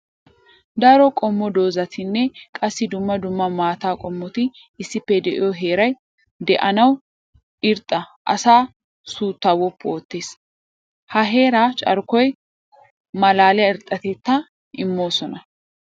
Daro qommo doozattinne qassi dumma dumma maata qommotti issippe de'iyo heeray de'annawu irxxa asaa suuta woppu ootes. Ha heera carkkoy malaaliya irxxatetta imoosona.